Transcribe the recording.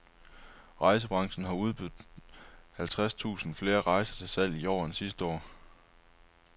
Rejsebranchen har udbudt halvtreds tusind flere rejser til salg i år end sidste år.